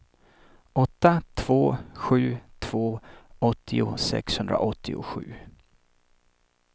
åtta två sju två åttio sexhundraåttiosju